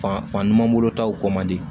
Fan fan ɲuman bolo taw kɔ man di